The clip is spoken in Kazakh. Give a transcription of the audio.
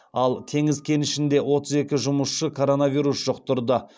ал теңіз кенішінде отыз екі жұмысшы коронавирус жұқтырды